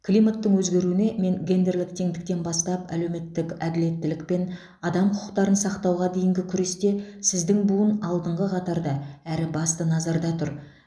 климаттың өзгеруіне мен гендерлік теңдіктен бастап әлеуметтік әділеттілік пен адам құқықтарын сақтауға дейінгі күресте сіздің буын алдыңғы қатарда әрі басты назарда тұр